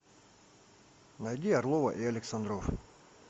найди орлова и александров